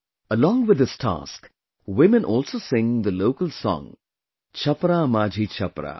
Along with this task, women also sing the local song 'Chhapra Majhi Chhapra'